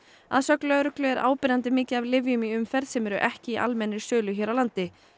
að sögn lögreglu er áberandi mikið af lyfjum í umferð sem eru ekki í almennri sölu hér á landi